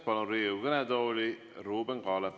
Palun Riigikogu kõnetooli Ruuben Kaalepi.